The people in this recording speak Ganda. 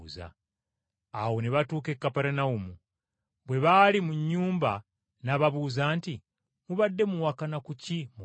Awo ne batuuka e Kaperunawumu. Bwe baali mu nnyumba, n’ababuuza nti, “Mubadde muwakana ku ki mu kkubo?”